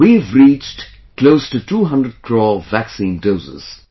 We have reached close to 200 crore vaccine doses